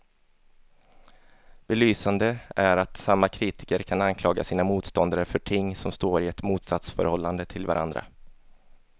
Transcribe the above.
Belysande är att samma kritiker kan anklaga sina motståndare för ting som står i ett motsatsförhållande till varandra.